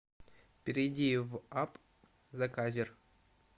перейди в апп заказер